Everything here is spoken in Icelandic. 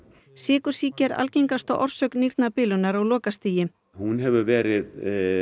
sykursýki er algengasta orsök nýrnabilunar á lokastigi hún hefur verið